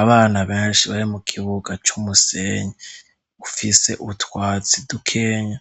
Abana benshi bari mu kibuga c'umusenyi ufise utwatsi dukenya,